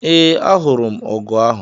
Ee, ahụrụ m ọgụ ahụ